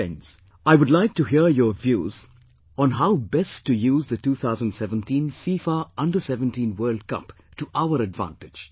Friends, I would like to hear your views on how best to use the 2017 FIFA Under17 World Cup to our advantage